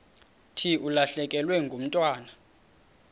thi ulahlekelwe ngumntwana